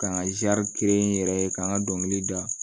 K'an ka n yɛrɛ ye k'an ka dɔnkili da